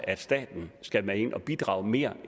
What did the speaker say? at staten skal med ind at bidrage mere